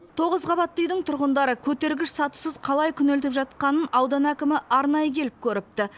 тоғыз қабатты үйдің тұрғындары көтергіш сатысыз қалай күнелтіп жатқанын аудан әкімі арнайы келіп көріпті